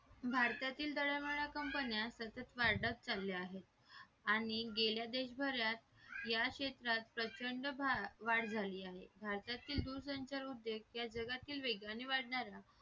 भारतातील दरवळाला कंपन्या सतत वाढत चाल्या आहेत आणि गेल्या देशभरात या क्षेत्रात प्रचंड वाढ झाली आहे भारतातील दूरसंचार उद्योग या जगातील वेगाने वाढणाऱ्या